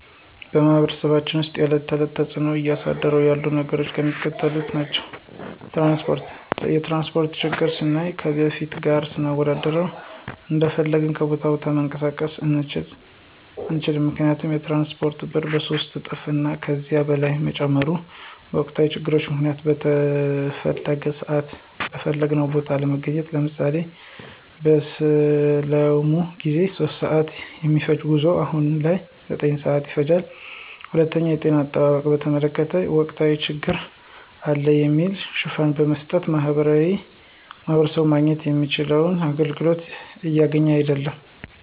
በማህበረሰባችን ውስጥ የዕለት ተዕለት ተፅዕኖ እያሳደሩ ያሉ ነገሮች የሚከተሉት ናቸው። ፩) ትራንስፓርት፦ የትራንስፓርት ችግርን ስናይ ከበፊቱ ጋር ስናወዳድረው እንደፈለግን ከቦታ ቦታ መንቀሳቀስ አንችልም ምክንያቱም የትራንስፓርቱ ብር በሶስት እጥፍ እና ከዚያ በላይ መጨመሩ፤ በወቅታዊ ችግር ምክንያት በተፈለገው ስዓት በፈለግንው ቦታ አለመገኘት። ለምሳሌ፦ በሰላሙ ጊዜ 3:00 ስዓት የሚፈጅው ጉዞ አሁን ላይ 9:00 ስዓት ይፈጃል። ፪) የጤና አጠባበቅን በተመለከተ ወቅታዊ ችግር አለ በሚል ሽፋን በመስጠት ማህበረሰቡ ማግኘት የሚችለውን አገልግሎት እያገኘ አይድለም።